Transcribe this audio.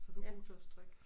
Så du er god til at strikke